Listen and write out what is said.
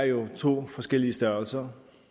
jo er to forskellige størrelser